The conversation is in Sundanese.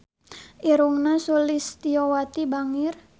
Irungna Sulistyowati bangir